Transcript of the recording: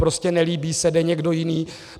Prostě nelíbí se, jde někdo jiný.